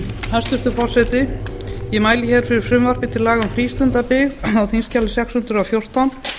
hæstvirtur forseti ég mæli fyrir frumvarpi til laga um frístundabyggð á þingskjali sex hundruð og fjórtán